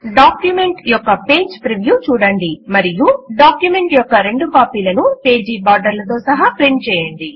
document యొక్క page preview చూడండి మరియు డాక్యుమెంట్ యొక్క రెండు కాపీలను పేజీ బార్డర్లతో సహా ప్రింట్ చేయండి